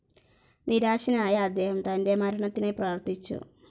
നിരാശനായ അദ്ദേഹം തൻ്റെ മരണത്തിനായി പ്രാർത്ഥിച്ചു.